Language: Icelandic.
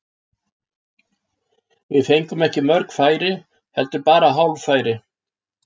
Við fengum ekki mörg færi, heldur bara hálffæri.